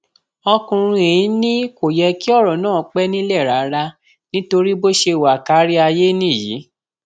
ọkùnrin yìí ni kò yẹ kí ọrọ náà pẹ nílẹ rárá nítorí bó ṣe wà kárí ayé nìyí